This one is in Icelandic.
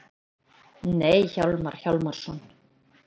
Nei, Hjálmar Hjálmarsson.